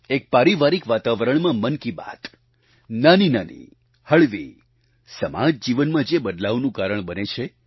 એક પારિવારિક વાતાવરણમાં મન કી બાત નાનીનાની હળવી સમાજ જીવનમાં જે બદલાવનું કારણ બને છે